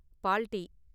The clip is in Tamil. பால் டீ.